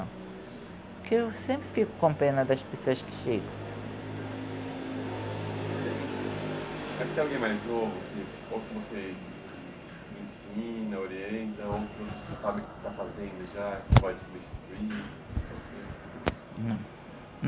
Porque eu sempre fico com pena das pessoas que chegam. alguém mais novo, ou que você ensina, orienta, ou que que pode substituir?